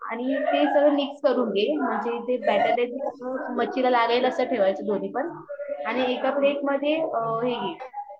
plate मधे हे घे